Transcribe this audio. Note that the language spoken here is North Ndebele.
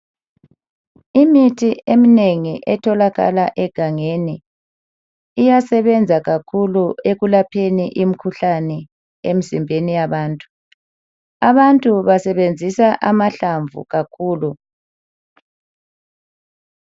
Imithi eminengi etholakala egangeni, iyasebenza kakhulu ekulapheni imikhuhlane emizimbeni yabantu. Abantu basebenzisa ama hlamvu kakhulu